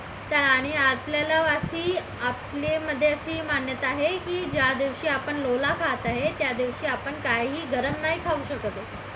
त्या आणि आपल्याला अशी म्हणजे आपली अशी मान्यता आहे की ज्या दिवशी आपण लोला खात आहे त्या दिवशी आपण काहीही गरम नाही खाऊ शकत